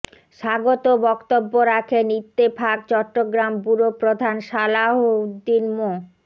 স্বাগত বক্তব্য রাখেন ইত্তেফাক চট্টগ্রাম ব্যুরো প্রধান সালাহউদ্দিন মো